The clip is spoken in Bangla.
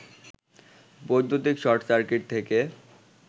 বৈদ্যুতিক শর্ট-সার্কিট থেকে